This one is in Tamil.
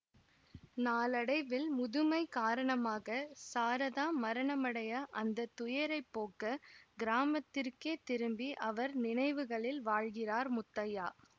நாளடைவில் முதுமை காரணமாக சாரதா மரணமடைய அந்த துயரைப் போக்க கிராமத்திற்கே திரும்பி அவர் நினைவுகளில் வாழ்கிறார் முத்தையா